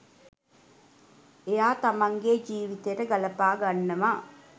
එයා තමන්ගේ ජීවිතයට ගලපා ගන්නවා.